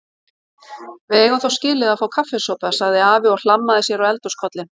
Nú eigum við þó skilið að fá kaffisopa sagði afi og hlammaði sér á eldhúskollinn.